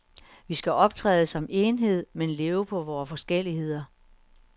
Vi skal optræde som enhed, men leve på vore forskelligheder.